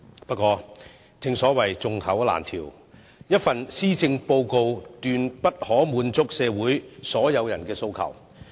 不過，正所謂眾口難調，一份施政報告不可能滿足社會上所有人的訴求。